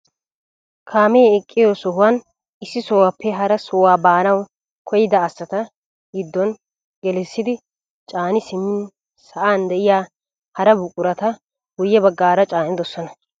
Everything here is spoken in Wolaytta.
Kaamee eqqiyoo sohuwaan issi sohuwaappe hara sohuwaa baanawu koyyida asata giddon gelissidi caani simmin sa'an de'iyaa hara buqurata guye baggaara caanidosona.